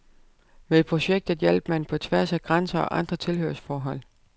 Med projektet hjalp man på tværs af grænser og andre tilhørsforhold.